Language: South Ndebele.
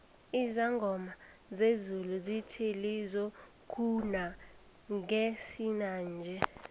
izangoma zezulu zithe lizokuna ngesinanje